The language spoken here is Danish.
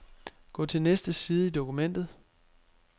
Gå til næste side i dokumentet.